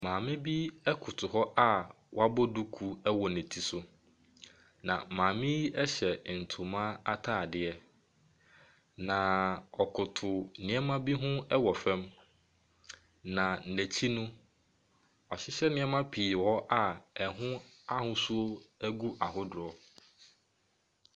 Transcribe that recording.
Maame bi koto hɔ a wabɔ duku wɔ ne ti so. Na maame yi hyɛ ntoma ataadeɛ. Na ɔkoto nneɛma bi ho wɔ fam. Na n'akyi no wɔahyehyɛ nneɛma ɛho ahosuo gu ahodoɔ.